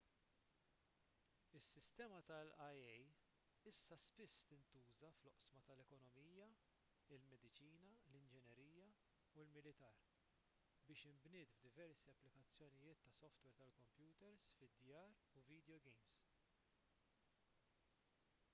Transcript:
is-sistema tal-ia issa spiss tintuża fl-oqsma tal-ekonomija il-mediċina l-inġinerija u l-militar kif inbniet f'diversi applikazzjonijiet ta' softwer tal-kompjuters fid-djar u vidjowgejms